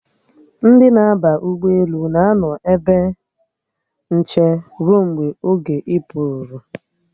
Ndi na-aba ụgbọelu na-anọ n'ebe nche ruo mgbe oge ịpụ ruru